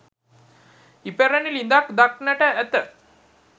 ඉපැරණි ළිඳක් දක්නට ඇත.